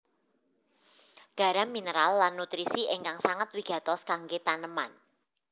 Garam mineral lan nutrisi ingkang sanget wigatos kanggé taneman